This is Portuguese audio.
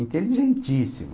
Inteligentíssimo.